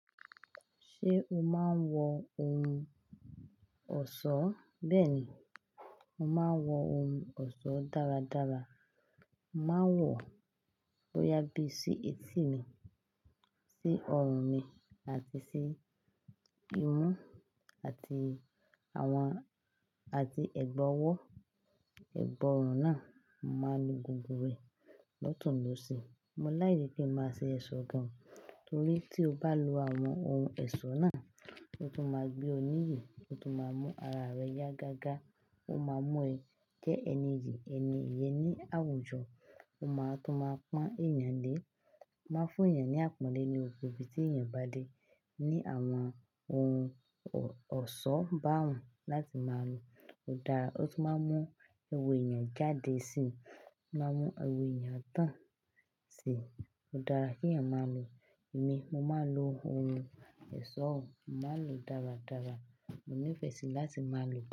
Ṣé o máa ń wọ ohun ọ̀ṣọ́? Bẹ́ẹ̀ ni, mo máa ń wọ oun ọ̀ṣọ́ dáradára. Mo máa ń wọ, bóyá bí sí etí mi, sí ọrùn mi àti sí imú àti àwọn, àti ẹ̀gbẹ́ ọwọ́. Ìbọrùn náà mo máa ń lo gbogbo rẹ̀ lọ́tùn lọ́sì. Mo like kíń máa ṣe ẹ̀ṣọ́ gan torí tí o bá lo àwọn oun ẹ̀ṣọ́ náà, ó tún máa gbé o níyì, ó tún máa mú ara rẹ yá gágá, ó máa mú ẹ jẹ́ ẹni ìyì, ẹni eyè ní àwùjọ, ó máa tún máa pọ́n èèyàn lé, ó máa ń fún yàn ní àpọ́nlé ni gbogbo ibi tí èèyàn bá dé. Ní àwọn oun ọ̀ṣọ́ bá un láti máa lo. Ó dára, ó tún máa ń mú ẹwà èèyàn jáde sí, ó máa ń mú ẹwà èèyàn tán sí ó dára kí èèyàn máa lu. Èmi, mo máa ń lo ohun ẹ̀ṣọ́, mo máa ń lo dáradára, mo nífẹ̀ẹ́ sí láti máa lo.